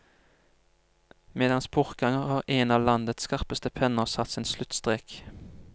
Med hans bortgang har en av landets skarpeste penner satt sin sluttstrek.